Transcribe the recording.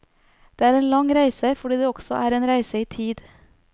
Det er en lang reise, fordi det også er en reise i tid.